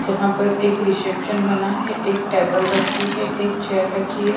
जहाँ पर एक रिसेप्शन बना है एक टेबल रखी है एक चेयर रखी है।